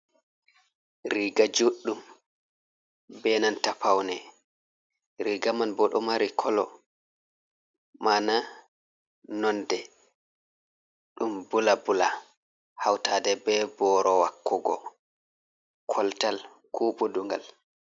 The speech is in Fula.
Riga juɗɗum benanta paune riga man bo ɗo mari kolo mana nonde ɗum bula bula hautaɗe be boro wakugo koltal ko buɗugal.